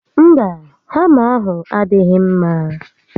Mba, hama ahụ adịghị mma